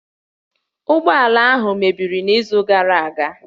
Ụgbọala ahụ mebiri n'izu gara aga